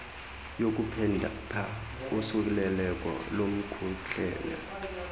yokuphepha usuleleko lomkhuhlane